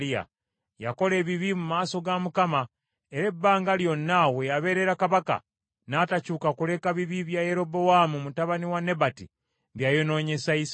Yakola ebibi mu maaso ga Mukama , era ebbanga lyonna we yabeerera kabaka, n’atakyuka kuleka bibi bya Yerobowaamu mutabani wa Nebati bye yayonoonyesa Isirayiri.